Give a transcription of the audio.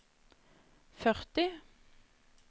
førti